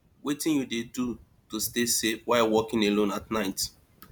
wetin you dey do to stay safe while walking alone at night